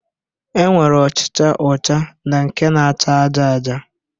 E nwere ọchịcha ọcha na nke na-acha aja aja